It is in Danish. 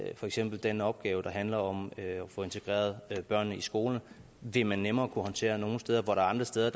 for eksempel den opgave der handler om at få integreret børnene i skoler vil man nemmere kunne håndtere nogle steder hvor der er andre steder